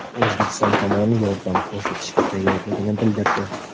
O‘zbekiston tomoni yordam ko‘rsatishga tayyorligini bildirdi.